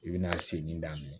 I bɛna segin daminɛ